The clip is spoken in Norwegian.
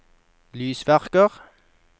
lysverker